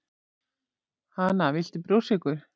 Hana, viltu brjóstsykur